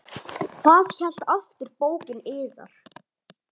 Hvað hét aftur bókin yðar?